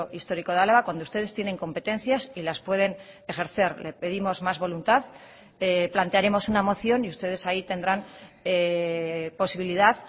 histórico de álava cuando ustedes tienen competencias y las pueden ejercer le pedimos más voluntad plantearemos una moción y ustedes ahí tendrán posibilidad